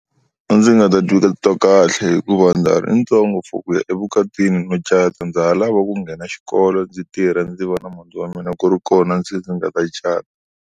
A ndzi nga ta titwa kahle hikuva ndza ha ri ntsongo for ku ya evukatini no cata ndza ha lava ku nghena xikolo ndzi tirha ndzi va na muti wa mina ku ri kona ndzi nga ta cata.